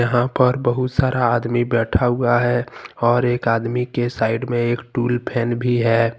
यहां पर बहुत सारा आदमी बैठा हुआ है और एक आदमी के साइड में टूल फैन भी है।